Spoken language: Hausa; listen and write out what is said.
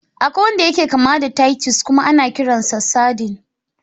Akwai wanda yake kama da titus kuma ana kiransa sardine.